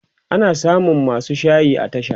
ana samun masu shayi a tasha